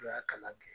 N'u y'a kalan kɛ